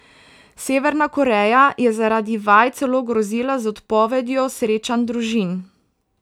Severna Koreja je zaradi vaj celo grozila z odpovedjo srečanj družin.